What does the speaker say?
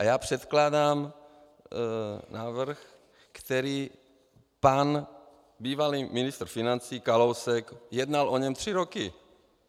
A já předkládám návrh, který pan bývalý ministr financí Kalousek, jednal o něm tři roky.